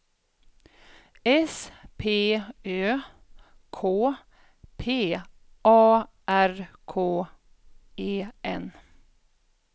S P Ö K P A R K E N